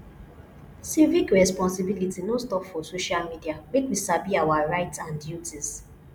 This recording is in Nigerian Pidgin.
civic responsibility no stop for social media make we sabi our rights and duties